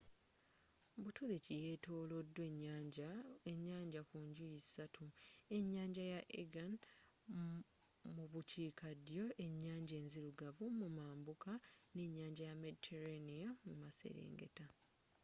buturuuki yetolodwa ennyanja ku njuyi ssatu enyanja ya aegean mu bukiikaddyo ennyanja enzirugavu mu mambuka ne nnyanja ya mediterranea mu maserengeta